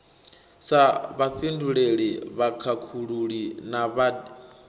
sa vhafhinduleli vhakhakhululi na vhad